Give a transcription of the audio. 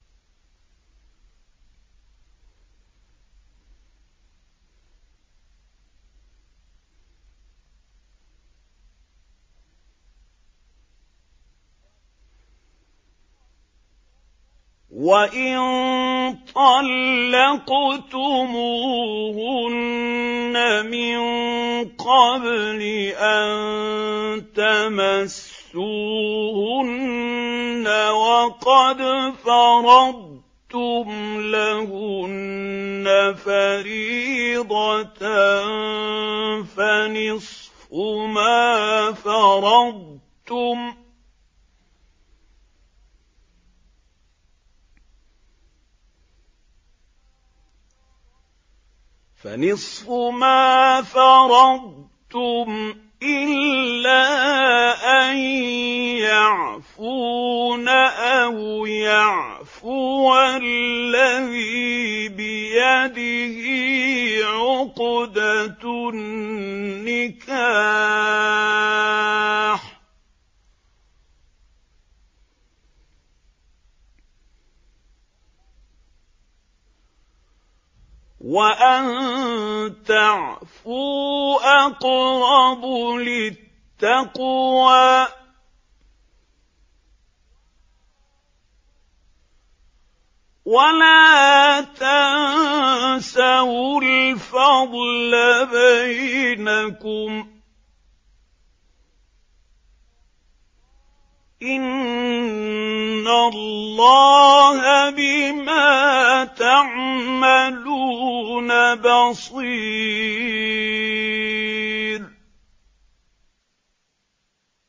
وَإِن طَلَّقْتُمُوهُنَّ مِن قَبْلِ أَن تَمَسُّوهُنَّ وَقَدْ فَرَضْتُمْ لَهُنَّ فَرِيضَةً فَنِصْفُ مَا فَرَضْتُمْ إِلَّا أَن يَعْفُونَ أَوْ يَعْفُوَ الَّذِي بِيَدِهِ عُقْدَةُ النِّكَاحِ ۚ وَأَن تَعْفُوا أَقْرَبُ لِلتَّقْوَىٰ ۚ وَلَا تَنسَوُا الْفَضْلَ بَيْنَكُمْ ۚ إِنَّ اللَّهَ بِمَا تَعْمَلُونَ بَصِيرٌ